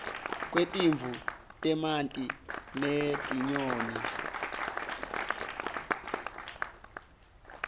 kwetimvu temanti netinyoni